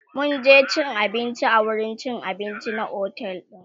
mun je cin abinci a wurin cin abinci na otel din